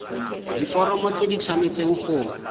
diforomo tse di tshwanesteng go